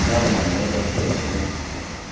нормально он того стоит потому что тут